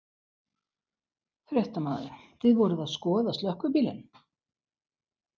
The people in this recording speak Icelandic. Fréttamaður: Þið voruð að skoða slökkvibílinn?